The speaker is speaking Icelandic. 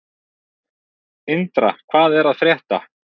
Indra, hvað er að frétta?